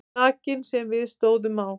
Klakinn sem við stóðum á.